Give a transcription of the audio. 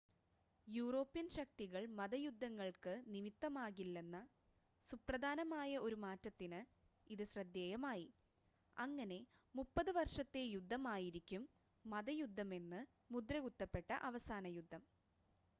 European ശക്തികൾ മത യുദ്ധങ്ങൾക്ക് നിമിത്തം ആകില്ലെന്ന സുപ്രധാനമായ ഒരു മാറ്റത്തിന് ഇത് ശ്രദ്ധേയമായി അങ്ങനെ മുപ്പത് വർഷത്തെ യുദ്ധം ആയിരിക്കും മതയുദ്ധമെന്ന് മുദ്രകുത്തപ്പെട്ട അവസാന യുദ്ധം